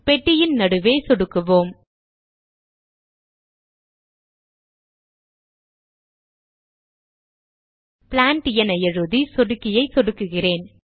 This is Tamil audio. பெட்டியின் நடுவே சொடுக்குவோம் பிளான்ட் என எழுதி சொடுக்கியை சொடுக்குகிறேன்